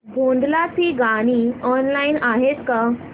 भोंडला ची गाणी ऑनलाइन आहेत का